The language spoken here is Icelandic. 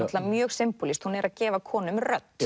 mjög hún er að gefa konum rödd